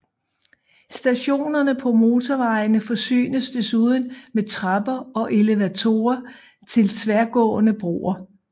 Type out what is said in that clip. Stationerne på motorvejene forsynes desuden med trapper og elevatorer til tværgående broer